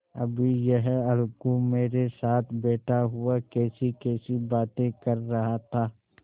अभी यह अलगू मेरे साथ बैठा हुआ कैसीकैसी बातें कर रहा था